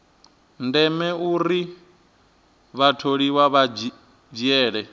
ndeme uri vhatholiwa vha dzhiele